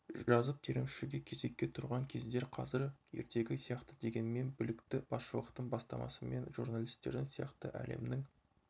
жазып терімшіге кезекке тұрған кездер қазір ертегі сияқты дегенмен білікті басшылықтың бастамасымен журналистердің сияқты әлемнің